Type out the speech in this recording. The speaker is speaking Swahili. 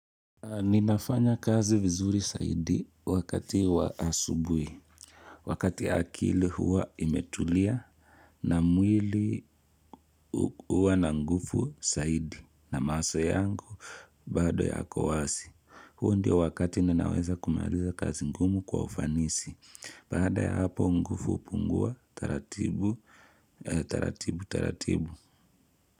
Ninafanya kazi vizuri zaidi wakati wa asubuhi. Wakati akili huwa imetulia na mwili huwa na nguvu saidi na mawaso yangu bado yakowasi. Huo ndio wakati ninaweza kumaliza kazi ngumu kwa ufanisi. Baada ya hapo ngufu upungua taratibu, taratibu, taratibu.